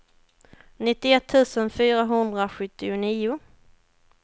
nittioett tusen fyrahundrasjuttionio